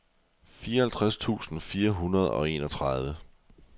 fireoghalvtreds tusind fire hundrede og enogtredive